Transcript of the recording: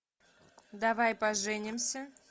давай поженимся